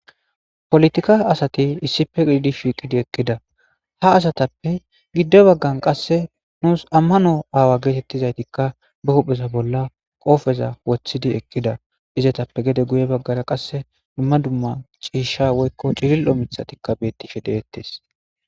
Polotika asati issipe idi shiiqidi ekkida ha asatappe giddo baggan qasse nuus ammano aawa geetettizaytikka be huhphesa bolla qoofeza wothidi ekkida izetappe gede guye baggara qasse dumma dumma ciisha woykko ciril'o mithatikka beettishe deettes.